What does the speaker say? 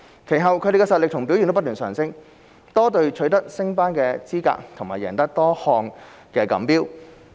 其後它們的實力和表現不斷提升，多隊取得升班資格和贏得多項錦標。